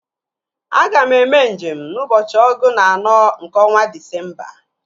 Aga m eme nje m n'ụbọchị ọgụ na anọ nke ọnwa Disemba